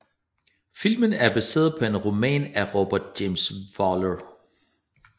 Filmen er baseret på en roman af Robert James Waller